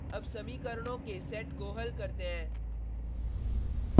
अब समीकरणों के सेट को हल करते हैं